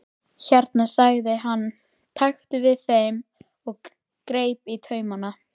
Hérna sagði hann, taktu við þeim og greip taumana.